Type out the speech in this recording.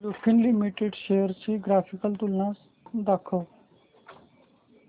Lupin limited shares ची graphical तुलना दाखव